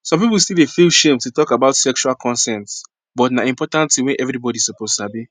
some people still dey feel shame to talk about sexual consent but na important thing wey everybody suppose sabi